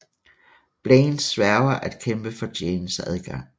Blaine sværger at kæmpe for Janes adgang